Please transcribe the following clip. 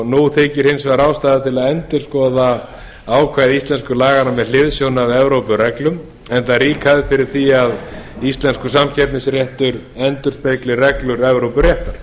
nú þykir hins vegar ástæða til að endurskoða ákvæði íslensku laganna með hliðsjón af evrópureglum enda rík hefð fyrir því að íslenskur samkeppnisréttur endurspegli felur evrópuréttar